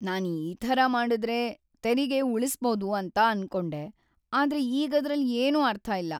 ನಾನ್ ಈ ಥರ ಮಾಡಿದ್ರೆ ತೆರಿಗೆ ಉಳಿಸ್ಬೋದು ಅಂತ ಅನ್ಕೊಂಡೆ, ಆದ್ರೆ ಈಗದ್ರಲ್ಲಿ ಏನೂ ಅರ್ಥ ಇಲ್ಲ.